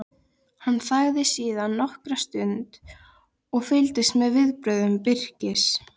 Hann þagði síðan nokkra stund og fylgdist með viðbrögðum Birkis.